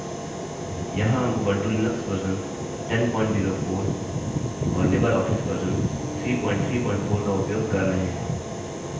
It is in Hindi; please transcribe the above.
यहाँ हम उबंटु लिनक्स वर्जन 1004 और लिबरऑफिस वर्जन 334 का उपयोग कर रहे हैं